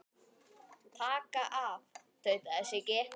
Taka af. tautaði Siggi.